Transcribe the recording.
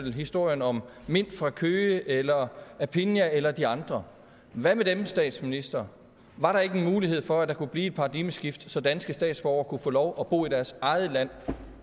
i historien om mint fra køge eller aphinya eller de andre hvad med dem statsminister var der ikke en mulighed for at der kunne blive et paradigmeskifte så danske statsborgere kunne få lov at bo i deres eget land